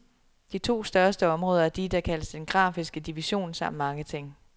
De to største områder er de, der kaldes den grafiske division, samt marketing.